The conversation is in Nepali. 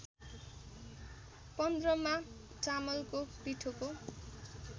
पन्ध्रमा चामलको पिठोको